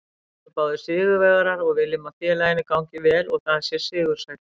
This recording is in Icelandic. Við erum báðir sigurvegarar og viljum að félaginu gangi vel og það sé sigursælt.